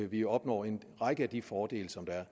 vi opnår en række af de fordele som der er